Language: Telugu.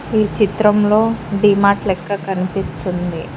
ఈ చిత్రంలో డిమార్ట్ లెక్క కనిపిస్తుంది.